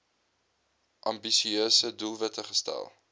ambisieuse doelwitte gestel